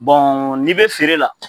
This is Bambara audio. Bɔn n'i be feere la